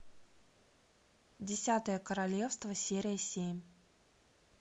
десятое королевство серия семь